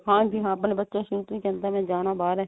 ਹਾਂਜੀ ਹਾਂ ਆਪਣਾ ਬੱਚਾ ਸ਼ੁਰੂ ਤੋਂ ਹੀ ਕਹਿੰਦਾ ਮੈਂ ਜਾਣਾ ਬਾਹਰ ਏ